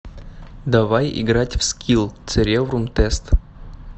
давай играть в скилл цереврум тест